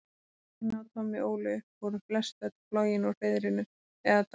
Börnin sem Lína og Tommi ólu upp voru flestöll flogin úr hreiðrinu eða dáin.